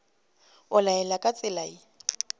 o laela ka tsela ye